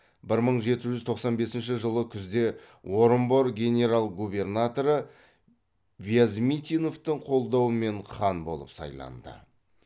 бір мың жеті жүз тоқсан бесінші жылы күзде орынбор генерал губернаторы вязмитиновтың қолдауымен хан болып сайланды